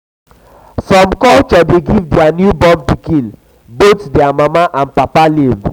some culture de give their newborn pikin both their um papa and um mama um name